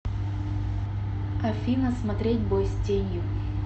афина смотреть бой с тенью